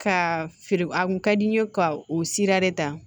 Ka feere a kun ka di n ye ka o sira de ta